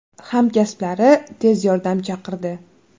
Hamkasblari tez yordam chaqirdi.